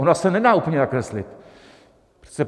Ona se nedá úplně nakreslit.